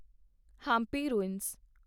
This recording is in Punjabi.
ਹੰਪੀ ਰੂਇੰਸ